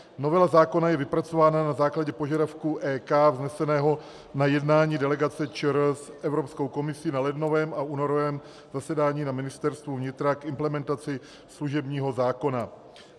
Novela zákona je vypracována na základě požadavku EK vzneseného na jednání delegace ČR s Evropskou komisí na lednovém a únorovém zasedání na Ministerstvu vnitra k implementaci služebního zákona.